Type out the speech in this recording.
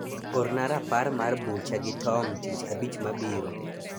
orna rapar mar bucha gi tom tich abich mabiro